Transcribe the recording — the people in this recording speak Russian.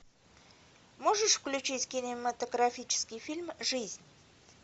можешь включить кинематографический фильм жизнь